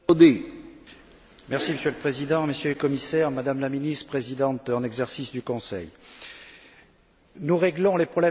Monsieur le Président, Monsieur le Commissaire, Madame la Ministre, Présidente en exercice du Conseil, nous réglons les problèmes de stabilité financière.